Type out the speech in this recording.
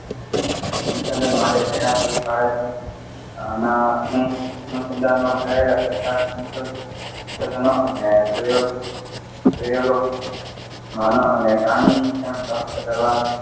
સંશોધન માટે પ્રેરણા પૂરી પાડે છે અને આના અનુસંધાનમાં થયેલા કેટલાક સંશોધનો અને પ્રયોગ અને પ્રયોગો માનવ અને પ્રાણી, શિક્ષણ પ્રાપ્ત કરવા.